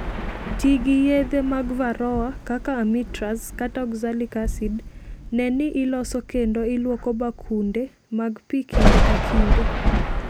Ti gi yedhe mag Varroa kaka amitraz kata oxalic acid. Ne ni iloso kendo ilwoko bakunde mag pi kinde ka kinde.